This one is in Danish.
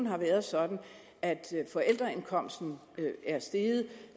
har været sådan at forældreindkomsten er steget